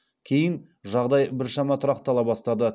кейін жағдай біршама тұрақтала бастады